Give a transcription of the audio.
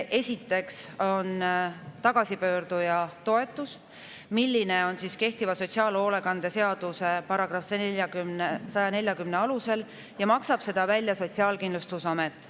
Esimene teema on tagasipöörduja toetus, mida kehtiva sotsiaalhoolekande seaduse § 140 alusel maksab välja Sotsiaalkindlustusamet.